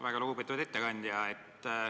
Väga lugupeetud ettekandja!